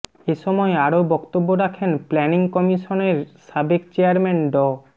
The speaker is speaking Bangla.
এসময় আরও বক্তব্য রাখেন প্ল্যানিং কমিশনের সাবেক চেয়ারম্যান ড